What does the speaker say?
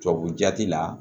Tubabu jati la